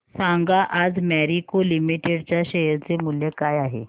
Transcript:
सांगा आज मॅरिको लिमिटेड च्या शेअर चे मूल्य काय आहे